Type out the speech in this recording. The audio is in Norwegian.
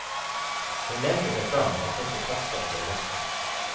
Hun lente seg fram og knipset aske av sigaretten.